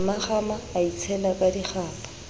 mmakgama a itshela ka dikgapha